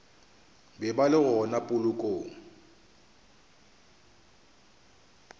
be ba le gona polokong